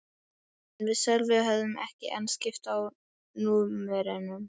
En við Sölvi höfðum ekki enn skipst á númerum.